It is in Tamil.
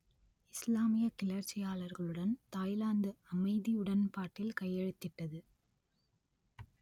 இஸ்லாமியக் கிளர்ச்சியாளர்களுடன் தாய்லாந்து அமைதி உடன்பாட்டில் கையெழுத்திட்டது